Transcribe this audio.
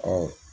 Ɔ